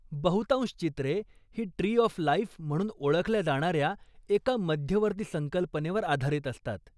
बहुतांश चित्रे ही 'ट्री ऑफ लाईफ' म्हणून ओळखल्या जाणाऱ्या एका मध्यवर्ती संकल्पनेवर आधारित असतात.